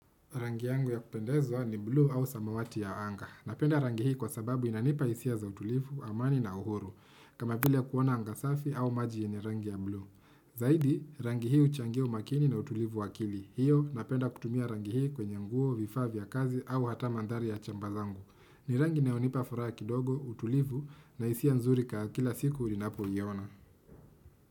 Rangi yangu ya kupendezwa ni bluu au samawati ya anga. Napenda rangi hii kwa sababu inanipa isia za utulivu, amani na uhuru. Kama pili ya kuona angasafi au majiye ni rangi ya blue. Zaidi, rangi hii uchangis umakini na utulivu wakili. Hiyo, napenda kutumia rangi hii kwenye nguo, vifaa vya kazi au hata mandhari ya chamba zangu. Ni rangi inayonipa furaha kidogo, utulivu na hisia nzuri kaa kila siku ninapo iona.